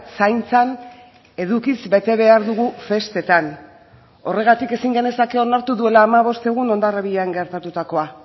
zaintzan edukiz bete behar dugu festetan horregatik ezin genezake onartu duela hamabost egun hondarribian gertatutakoa